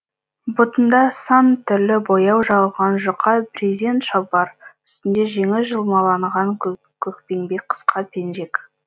бұтында сан түрлі бояу жағылған жұқа брезент шалбар үстінде жеңі жұлмаланған көкпеңбек қысқа пенжек